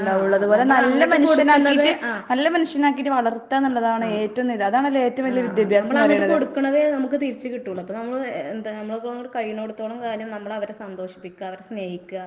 ആഹ് ആഹ് ഉം. ആഹ് ആഹ്. നമ്മളങ്ങട്ട് കൊടുക്കണതെ നമ്മക്ക് തിരിച്ച് കിട്ടുവോളു. അപ്പ നമ്മള് എ എന്താ നമ്മളെക്കൊണ്ട് കഴിയണോടത്തോളം കാലം നമ്മളവരെ സന്തോഷിപ്പിക്ക്ക. അവരെ സ്നേഹിക്കുക.